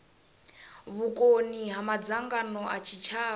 vhukoni ha madzangano a tshitshavha